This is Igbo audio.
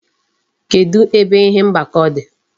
Kedu ebe ihe mgbakọ dị?